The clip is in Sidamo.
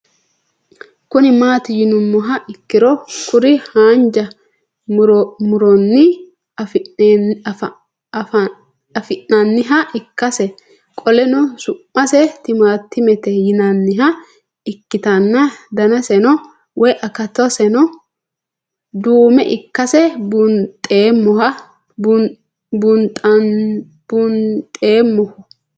Kuni mati yinumoha ikiro kuri hanja muroni afi'nanniha ikasi qoleno su'mase timantimete yinaniha ikitana danaseno woyi akataseno duume ikase bunxemoha